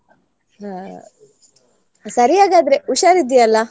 ಹಾ ಸರಿ ಹಾಗದ್ರೆ. ಹುಷಾರಿದ್ಧಿ ಅಲಾ?